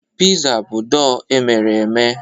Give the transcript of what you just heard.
Pịza bụ dọọ emere eme.